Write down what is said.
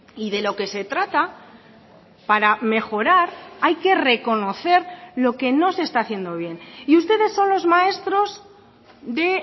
y de lo que se trata para mejorar hay que reconocer lo que no se está haciendo bien y ustedes son los maestros de